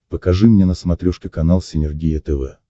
покажи мне на смотрешке канал синергия тв